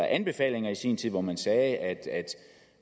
anbefalinger i sin tid hvor man sagde at